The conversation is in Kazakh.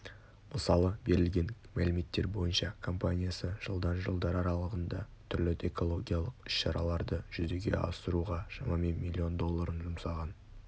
мысалы берілген мәліметтер бойынша компаниясы жылдан жылдар аралығында түрлі экологиялық іс-шараларды жүзеге асыруға шамамен миллион долларын жұмсаған